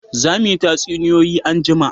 Za mu yi tatsuniyoyi anjima